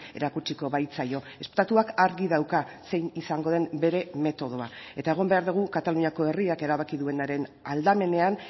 erakutsiko baitzaio estatuak argi dauka zein izango den bere metodoa eta egon behar dugu kataluniako herriak erabaki duenaren aldamenean